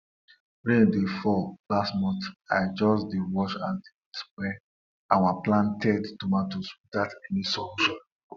the priest dey ask for one cock one cow and one calabash say na wetin them go use for animal sacrifice be that.